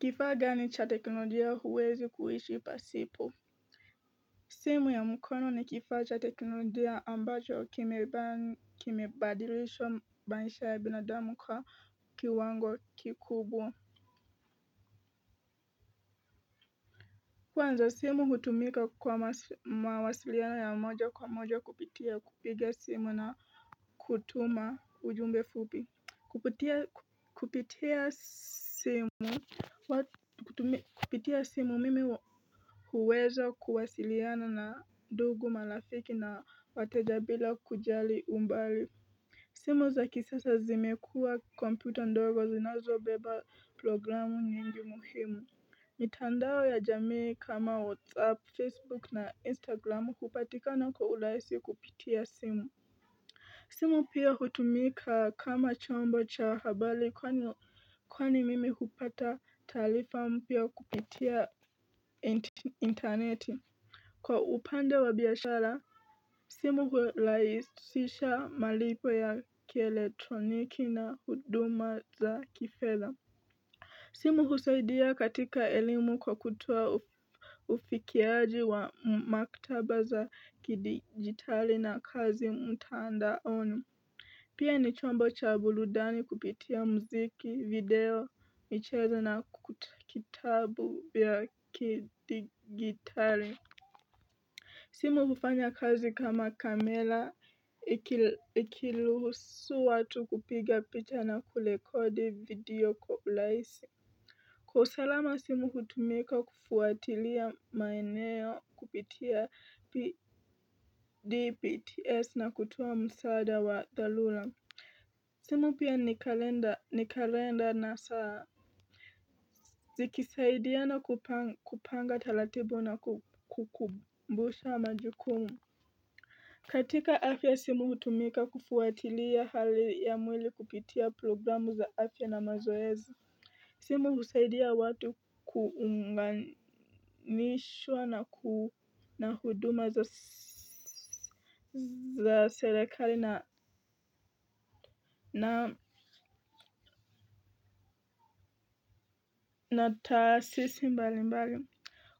Kifaa gani cha teknolojia huwezi kuishi pasipo. Simu ya mkono ni kifaa cha teknolojia ambacho kimebadilisha maisha ya binadamu kwa kiwango kikubwa. Kwanza, simu hutumika kwa mawasiliano ya moja kwa moja kupitia kupiga simu na kutuma ujumbe fupi. Kupitia simu mimi hu huweza kuwasiliana na ndugu malafiki na wateja bila kujali umbali. Simu za kisasa zimekua kompyuta ndogo zinazo beba programu nyingi muhimu. Mitandao ya jamii kama WhatsApp, Facebook na Instagram hupatikana kwa urahisi kupitia simu. Simu pia hutumika kama chombo cha habari kwani kwani mimi hupata talifa mpya kupitia interneti. Kwa upanda wa biyashara, simu hulaisisha malipo ya kieletroniki na huduma za kifedha. Simu husaidia katika elimu kwa kutoa ufikiaji wa maktaba za kidigitali na kazi mtaandaono. Pia ni chombo cha buludani kupitia mziki, video, michezo na kitabu ya kidigitari. Simu kufanya kazi kama kamela ikiluhusu watu kupiga picha na kulekodi video kwa ulaisi. Kwa salama simu hutumika kufuatilia maeneo kupitia PDPTS na kutuo msaada wa thalula. Simu pia ni kalenda na saa zikisaidiana kupanga talatibu na kukumbusha majukumu. Katika afya simu hutumika kufuatilia hali ya mwili kupitia programu za afya na mazoezi. Simu husaidia watu kuunganishwa na huduma za serekali na taasisi mbali mbali